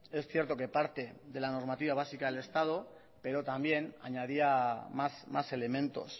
es cierto que parte de la normativa básica del estado pero también añadía más elementos